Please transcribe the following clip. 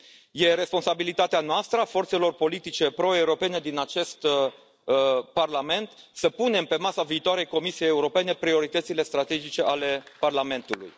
Este responsabilitatea noastră, a forțelor politice pro europene din acest Parlament, să punem pe masa viitoarei Comisii Europene prioritățile strategice ale Parlamentului.